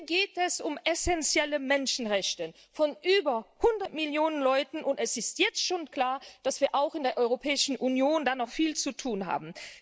Hier geht es um essenzielle Menschenrechte von über 100 Millionen Menschen, und es ist jetzt schon klar, dass wir auch in der Europäischen Union da noch viel zu tun haben.